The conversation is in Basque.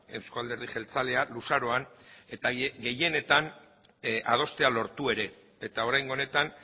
euzko alderdi jeltzalea luzaroan eta gehienetan adostea lortu ere eta oraingo honetan